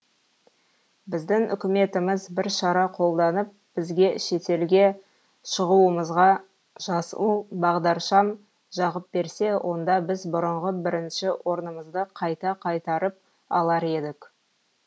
біздің үкіметіміз бір шара қолданып бізге шетелге шығуымызға жасыл бағдаршам жағып берсе онда біз бұрынғы бірінші орнымызды қайта қайтарып алар едік